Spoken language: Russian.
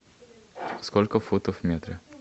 сколько футов в метре